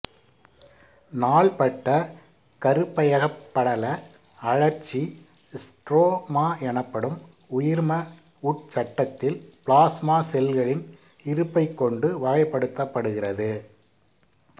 நாள்பட்ட கருப்பையகப்படல அழற்சி ஸ்ட்ரோமாஎனப்படும் உயிர்ம உட்சட்டத்தில் பிளாஸ்மா செல்களின் இருப்பைக் கொண்டு வகைப்படுத்தப்படுகிறது